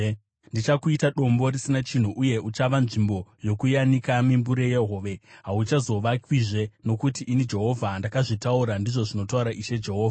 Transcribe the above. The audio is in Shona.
Ndichakuita dombo risina chinhu, uye uchava nzvimbo yokuyanika mimbure yehove. Hauchazovakwizve, nokuti ini Jehovha ndakazvitaura, ndizvo zvinotaura Ishe Jehovha.